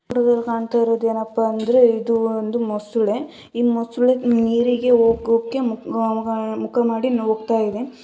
ನಮ್ಗ ಇಲ್ಲಿ ಕಾಣ್ತಾ ಇರೋದು ಏನಪ್ಪಾ ಅಂದ್ರೆ ಇದು ಒಂದು ಮೊಸಳೆ ಈ ಮೊಸಳೆ ನೀರಿಗೆ ಮುಖ ಮಾಡಿ ಮುಲಗ್ತಾ ಇದೆ.